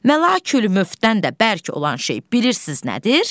Məlakül Möfddən də bərk olan şey bilirsiz nədir?